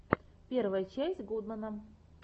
первая часть гудмэна